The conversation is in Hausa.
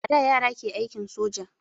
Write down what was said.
A da yare ke aikin soja